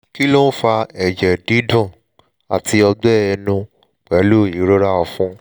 kí ló ń fa ẹ̀jẹ̀ dídùn àti ọgbẹ́ ẹnu pẹ̀lú ìrora ọ̀fun?